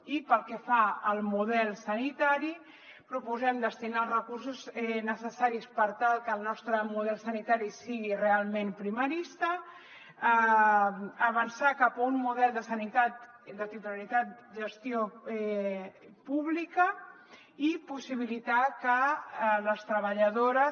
i pel que fa al model sanitari proposem destinar els recursos necessaris per tal que el nostre model sanitari sigui realment primarista avançar cap a un model de sanitat de titularitat gestió pública i possibilitar que les treballadores